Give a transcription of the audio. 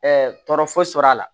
tɔɔrɔ foyi sɔrɔ a la